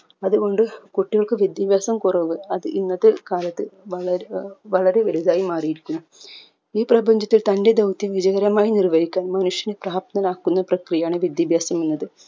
അത് കൊണ്ട് കുട്ടികൾക്ക് വിദ്യാഭ്യാസം കുറവ് അത് ഇന്നത്തെ കാലത്ത് വള റീ ഏർ വളരെ ലളിതായി മാറിയിരിക്കുന്നു ഈ പ്രപഞ്ചത്തിൽ തന്റെ ധൗത്യം വിജയകരമായി നിർവഹിക്കാൻ മനുഷ്യനെ പ്രാപ്തനാകുന്ന പ്രക്രിയയാണ് വിദ്യാഭ്യാസം എന്നത്